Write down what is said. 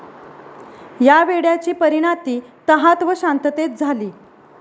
या वेड्याची परीनाती तहात व शांततेत झाली.